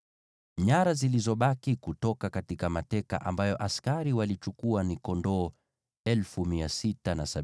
Nyara zilizobaki kutoka mateka ambayo askari walichukua ni kondoo 675,000,